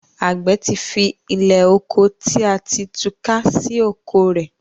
agbe tí fí Ilẹ́oko tí a ti túká sì oko rẹ.